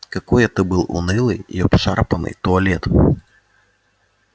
какой это был унылый и обшарпанный туалет